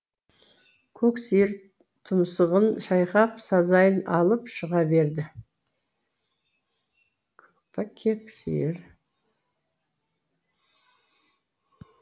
кек сиыр тұмсығын шайқап сазайын алып шыға берді